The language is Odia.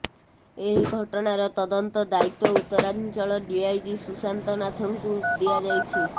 ଏହି ଘଟଣାର ତଦନ୍ତ ଦାୟିତ୍ୱ ଉତ୍ତରାଞ୍ଚଳ ଡ଼ିଆଇଜି ସୁଶାନ୍ତ ନାଥଙ୍କୁ ଦିଆଯାଇଛି